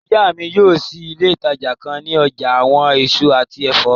Iya mi yóò ṣii ile itaja kan ni ọja awọn eso ati ẹfọ